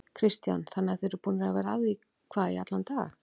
Kristján: Þannig að þið eruð búnir að vera að því hvað í allan dag?